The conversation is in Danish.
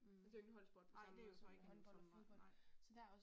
Hm, nej det jo ik sådan en som nej